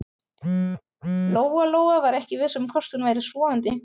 Lóa-Lóa var ekki viss um hvort hún væri sofandi.